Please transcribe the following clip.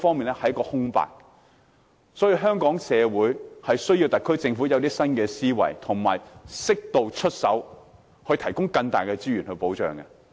因此，香港社會需要特區政府有新思維，並適度出手，提供更大的資源和保障。